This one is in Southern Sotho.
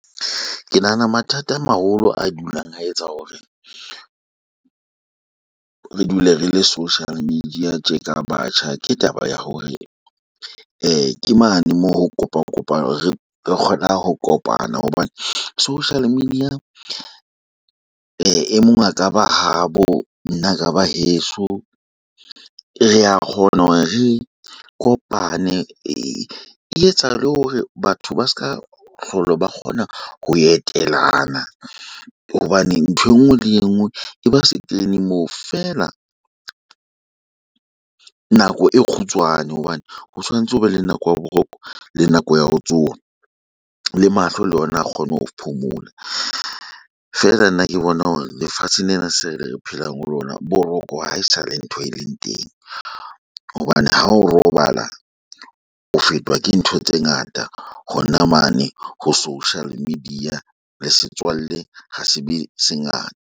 Ke nahana mathata a maholo a dulang a etsa hore, re dule re le social media tjeka batjha. Ke taba ya hore ke mane moo ho kopa kopang re kgonang ho kopana. Hobane, social media e mong a ka ba habo nna ka ba heso. Re a kgona hore re kopane, e etsa le hore batho ba seka hlola ba kgona ho etelana. Hobane ntho enngwe le enngwe e ba se kene moo, feela nako e kgutshwane. Hobane ho tshwanetse ho be le nako ya Boroko, le nako ya ho tsoha. Le mahlo le ona a kgone ho phomola. Feela nna ke bona hore lefatshe lena se re phelang ho lona boroko haesale ntho e leng teng. Hobane ha o robala, o fetwa ke ntho tse ngata hona mane ho social media. Le setswalle ha se be se ngata.